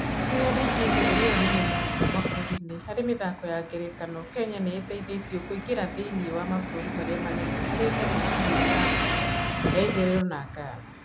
Rĩrĩa Naijĩria ĩrĩyo nene mũno mabũrũriinĩ harĩ mĩthako ya ngerekano, Kenya nĩĩteithĩtio kũingĩra thĩinĩ wa mabũrũri marĩa manene harĩ thenema hamwe na Afrika ya Itherero na Ghana.